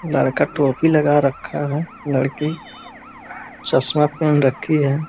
लड़का टोपी लगे रखा है लड़की चश्मा पहन रखी है |